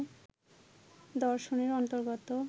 দর্শনের অন্তর্গত